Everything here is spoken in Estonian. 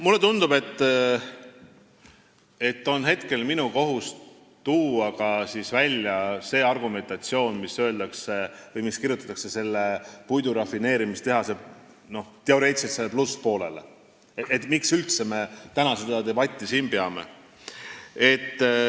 Mulle tundub, et minu kohus on tuua välja ka see argumentatsioon, mis kirjutatakse teoreetiliselt selle puidurafineerimistehase plusspoolele, et miks me üldse täna seda debatti siin peame.